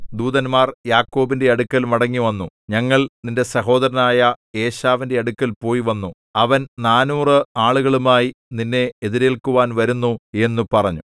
ദൂതന്മാർ യാക്കോബിന്റെ അടുക്കൽ മടങ്ങിവന്നു ഞങ്ങൾ നിന്റെ സഹോദരനായ ഏശാവിന്റെ അടുക്കൽ പോയി വന്നു അവൻ നാനൂറ് ആളുകളുമായി നിന്നെ എതിരേൽക്കുവാൻ വരുന്നു എന്നു പറഞ്ഞു